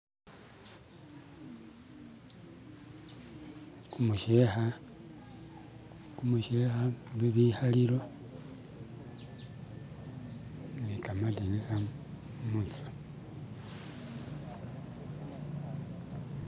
Gumusheka, gumusheka, bibikalilo nigamadinisa munzu.